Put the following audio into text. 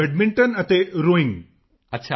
badminton ਅਤੇ rowing rowing